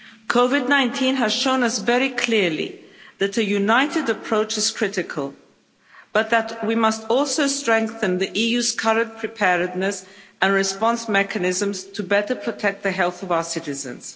COVID 19 has shown us very clearly that a united approach is critical, but that we must also strengthen the EU's current preparedness and response mechanisms to better protect the health of our citizens.